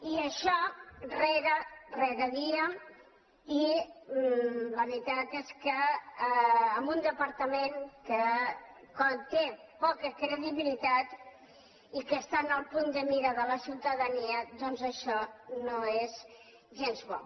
i això dia rere dia i la veritat és que amb un depar·tament que té poca credibilitat i que està en el punt de mira de la ciutadania doncs això no és gens bo